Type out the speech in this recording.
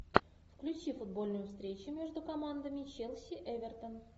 включи футбольную встречу между командами челси эвертон